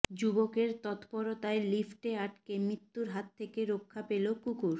যুবকের তত্পরতায় লিফ্টে আটকে মৃত্যুর হাত থেকে রক্ষা পেল কুকুর